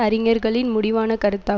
அறிஞர்களின் முடிவான கருத்தா